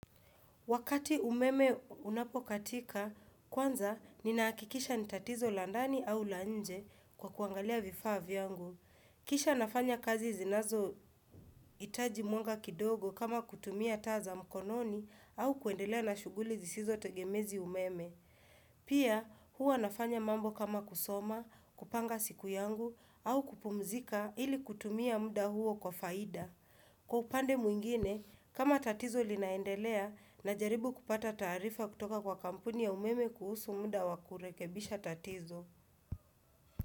Wakati umeme unapokatika, kwanza ninahakikisha ni tatizo la ndani au la nje kwa kuangalia vifaa vyangu. Kisha nafanya kazi zinazo hitaji mwanga kidogo kama kutumia taa za mkononi au kuendelea na shuguli zisizo tegemea umeme. Pia huwa nafanya mambo kama kusoma, kupanga siku yangu au kupumzika ili kutumia muda huo kwa faida. Kwa upande mwingine, kama tatizo linaendelea najaribu kupata taarifa kutoka kwa kampuni ya umeme kuhusu muda wa kurekebisha tatizo.